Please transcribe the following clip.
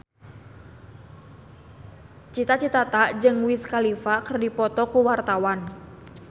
Cita Citata jeung Wiz Khalifa keur dipoto ku wartawan